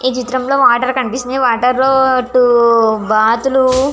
ఈ చిత్రం లో వాటర్ కనిపిస్తునై వాటర్ లో టూ బాతులు --